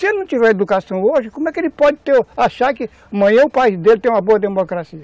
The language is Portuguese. Se ele não tiver educação hoje, como é que ele pode ter, achar que amanhã o país dele tem uma boa democracia?